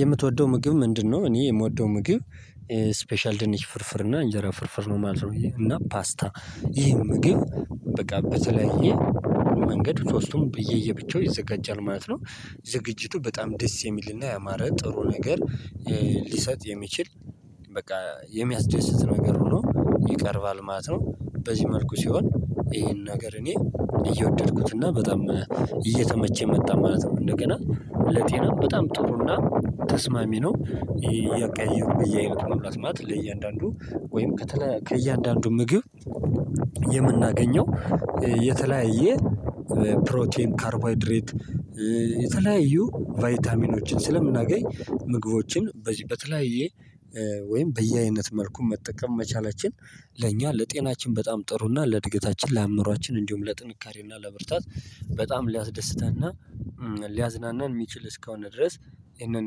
የምትወደው ምግብ ምንድነው? እኔ የምወደው ምግብ ስፔሻል ድንች ፍርፍር እና እንጀራ ፍርፍር ነው ማለት ነው እና ፓስታ ይህን ምግብ በቃ በተለየ መንገድ ሶስቱም ለየብቻው ይዘጋጃል ማለት ነው ዝግጅቱ በጣም ደስ የሚልና ያማረ ጥሩ ነገር ሊሰጥ የሚችል በቃ የሚያስደስት ነገር ሆኖ ይቀርባል ማለት ነው በዚህ መልኩ ሲሆን ይሄን ነገር እኔ እየወደድኩት እና በጣም እየተመቸ መጣ ማለት ነው። እንደገና ለጤና በጣም ጥሩና ተስማሚ ነው። እያቀያየሩ እያሉ መብላት ማለት ለእያንዳንዱ ወይም ከእያንዳንዱ ምግብ የምናገኘው የተለያየ ፕሮቲን ካርቦሃይድሬት የተለያዩ ቫይታሚኖችን ስለምናገኝ ምግቦችን በዚህ በተለያየ ወይም በየአይነት መልኩ መጠቀም መቻላችን ለእኛ ለጤናችን በጣም ጥሩና ለእድገታችን ለአምሯችን እንዲሁም ለጥንካሬና ለብርታት በጣም ሊያስደስተን እና ሊያዝናናን የሚችል እስከሆነ ድረስ ይሄንን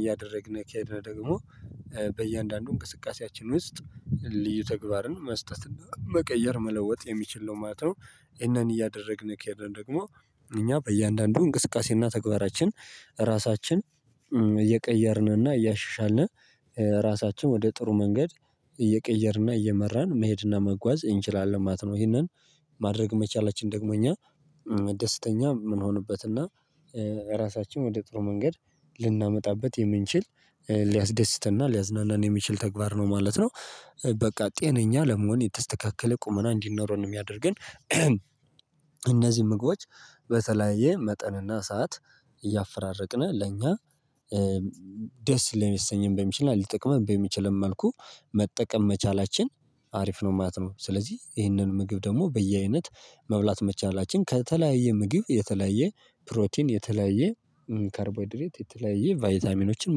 እያደረግን ከሄድን ደግሞ በእያንዳንዱ እንቅስቃሴያችን ውስጥ ልዩ ተግባርን መስጠትና መቀየር መለወጥ የሚችል ነው ማለት ነው። ይህንን እያደረግን ከሄደን ደግሞ እኛ በእያንዳንዱ እንቅስቃሴና ተግባራችን ራሳችን እየቀየርንና እያሻሻልን ራሳችን ወደ ጥሩ መንገድ እየቀየርንና እየመራን መሄድና መጓዝ እንችላለን ማለት ነው። ይሄንን ማድረግ መቻላችን ደግሞ እኛ ደስተኛ የምንሆንበት እና ራሳችን ወደ ጥሩ መንገድ ልናመጣበት የምንችል ሊያስደስትና ሊያዝናናን የሚችል ተግባር ነው ማለት ነው። በቃ ጤነኛ ለመሆን የተስተካከለ ቁመና እንዲኖረን ነው የሚያደርገን እነዚህ ምግቦች በተለያየ መጠንና ሰዓት እያፈራረቅን ለኛ ደስ ልያሰኘን በሚችልና ሊጠቅመን በሚችል መልኩ መጠቀም መቻላችን አሪፍ ነው ማለት ነው። ስለዚህ ይህንን ምግብ ደግሞ በየአይነት መብላት መቻላችን ከተለያየ ምግብ የተለያየ ፕሮቲን የተለያየ ካርቦሃይድሬት የተለያየ ቫይታሚኖችን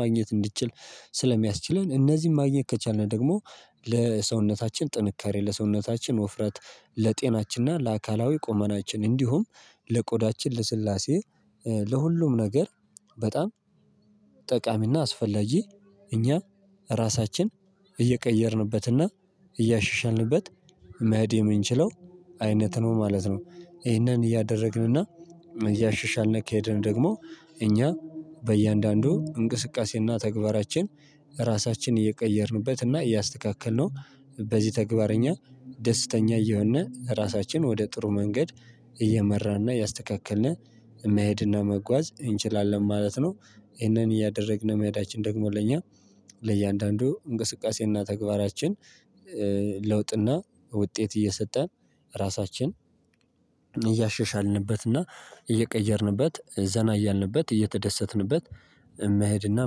ማግኘት እንድትችል ስለሚያስችለን እነዚህን ማግኘት ከቻልን ደግሞ ለሰውነታችን ጥንካሬ ለሰውነታችን ወፍረት ለጤናችንና ለአካላዊ ቆመናችን እንዲሁም ለቆዳችን ለስላሴ ለሁሉም ነገር በጣም ጠቃሚና አስፈላጊ እኛ ራሳችን እየቀየርንበትና እያሻሻንበት መሄድ የምንችለው አይነት ነው ማለት ነው። ይሄንን እያደረግንና እያሸሻልን እንኬድን ደግሞ እኛ በእያንዳንዱ እንቅስቃሴና ተግባራችን ራሳችንን እየቀየርንበት እና እያስተካከልነው በዚህ ተግባርኛ ደስተኛ እየሆነ ራሳችን ወደ ጥሩ መንገድ እየመራና ያስተካክልና መሄድና መጓዝ እንችላለን ማለት ነው። ይሄንን እያደረግን የመሄዳችን ደግሞ ለእኛ ለእያንዳንዱ እንቅስቃሴና ተግባራችን ለውጥና ውጤት እየሰጠን ራሳችን እያሸሻልንበትና እየቀየርንበት ዘና እያልንበት እየተደሰትንበት መሄድና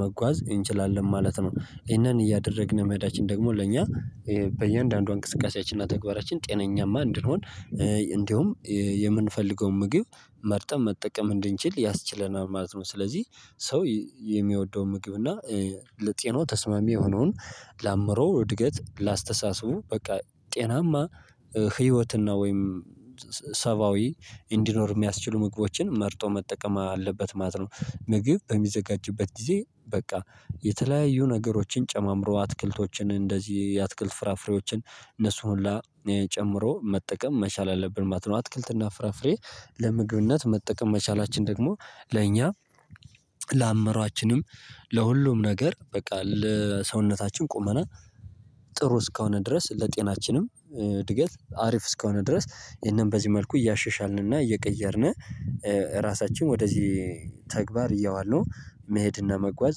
መጓዝ እንችላለን ማለት ነው። ይሄንን እያደረግን መሄዳችን ደግሞ ለእኛ በእያንዳንዷ እንቅስቃሴያችንና ተግባራችን ጤናማ እንድንሆን እንዲሁም የምንፈልገውን ምግብ መርጠን መጠቀም እንድንችል ያስችለናል ማለት ነው። ስለዚህ ሰው የሚወደውን ምግብ እና ለጤናዎ ተስማሚ የሆነውን ለአምሮ እድገት ላስተሳስቡ በቃ ጤናማ ህይወትና ወይም ሰብአዊ እንዲኖር የሚያስችሉ ምግቦችን መርጦ መጠቀም አለበት ማለት ነው። ምግብ በሚዘጋጅበት ጊዜ በቃ የተለያዩ ነገሮችን ጨማምሮ አትክልቶችን እንደዚህ የአትክልት ፍራፍሬዎችን እነሱ ሁላ ጨምሮ መጠቀም መቻል አለብን ማለት ነው። አትክልትና ፍራፍሬ ለምግብነት መጠቀም መቻላችን ደግሞ ለእኛ ለአምራችንም ለሁሉም ነገር በቃ ለሰውነታችን ቁመና ጥሩ እስከሆነ ድረስ ለጤናችንም እድገት አሪፍ እስከሆነ ድረስ ይሄንን በዚህ መልኩ እያሸሻልንና እየቀየርን ራሳችን ወደዚህ ተግባር እየዋለን መሄድና መጓዝ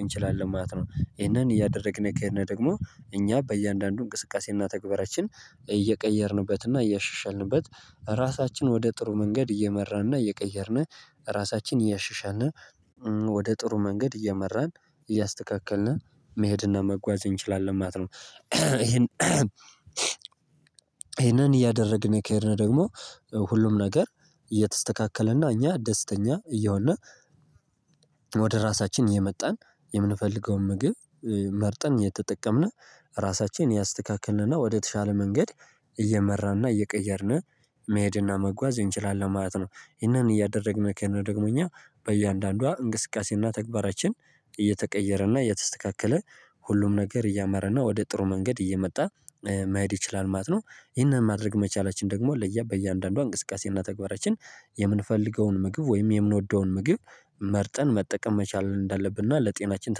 እንችላለን ማለት ነው። ይሄንን እያደረግን የከሄነ ደግሞ እኛ በእያንዳንዱ እንቅስቃሴና ተግባራችን እየቀየርንበትና እያሻሻልንበት ራሳችን ወደ ጥሩ መንገድ እየመራንና እየቀየርን ራሳችን እያሻሻልን ወደ ጥሩ መንገድ እየመራን እያስተካከልን መሄድና መጓዝ እንችላለን ማለት ነው። ይሄን ይሄንን እያደረግን የከሄድነው ደግሞ ሁሉም ነገር እየተስተካከለና እኛ ደስተኛ እየሆነ ወደ ራሳችን የመጣን የምንፈልገውን ምግብ መርጠን የተጠቀምን ራሳችንን ያስተካክልንና ወደተሻለ መንገድ እየመራንና እየቀየርን መሄድና መጓዝ እንችላለን ማለት ነው። ይህንን እያደረግን ከሆነ ደግሞ እኛ በእያንዳንዷ እንቅስቃሴና ተግባራችን እየተቀየረና እየተስተካከለ ሁሉም ነገር እያማረና ወደ ጥሩ መንገድ እየመጣ መሄድ ይችላል ማለት ነው። ይህንን ማድረግ መቻላችን ደግሞ ለያ በእያንዳንዷ እንቅስቃሴና ተግባራችን የምንፈልገውን ምግብ ወይም የምንወደውን ምግብ መርጠን መጠቀም መቻል እንዳለብን እና ለጤናችን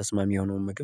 ተስማሚ የሆነውን ምግብ